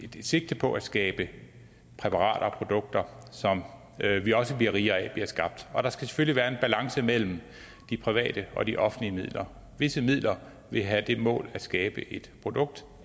sigte på at skabe præparater og produkter som vi også bliver rigere af bliver skabt og der skal selvfølgelig være en balance mellem de private og de offentlige midler visse midler vil have det mål at skabe et produkt